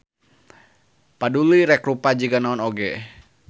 Paduli rek rupa jiga naon oge.